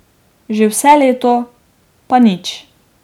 Že vse leto, pa nič.